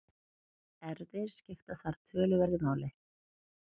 Erfðir skipta þar töluverðu máli.